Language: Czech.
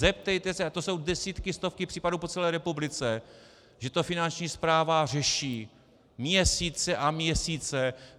Zeptejte se - a to jsou desítky, stovky případů po celé republice, že to Finanční správa řeší měsíce a měsíce.